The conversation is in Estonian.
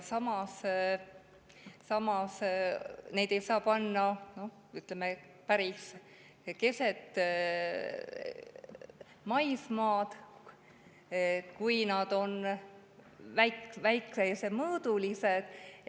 Samas ei saa neid panna, ütleme, päris keset maismaad, kui nad on väiksemõõdulised.